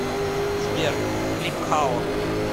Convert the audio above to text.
сбер клип хало